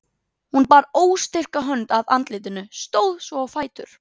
Hún bar óstyrka hönd að andlitinu, stóð svo á fætur.